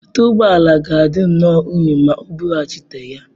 Ute ụgbọ ala ga-adị nnọọ unyi ma O bughachite ya.